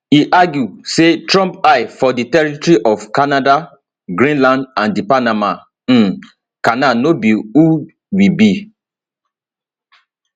e argue say trump eye for di territory of canada greenland and di panama um canal no be who we be